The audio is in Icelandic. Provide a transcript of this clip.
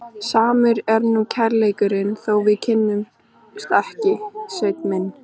Samur er nú kærleikurinn þó við kyssumst ekki, Sveinn minn.